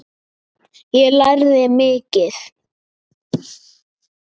Ég lærði mikið.